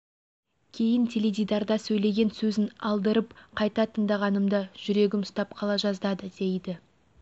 кейін теледидарда сөйлеген сөзін алдырып қайта тыңдағанымда жүрегім ұстап қала жаздады дейді